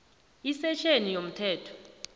isektjheni a yomthetho